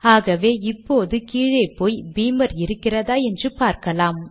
ஆகவே இப்போது கீழே போய் பீமர் இருக்கிறதா என்று பார்க்கலாம்